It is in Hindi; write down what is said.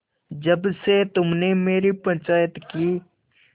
जब से तुमने मेरी पंचायत की